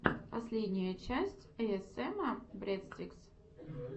последняя часть эйэсэма брэдстикс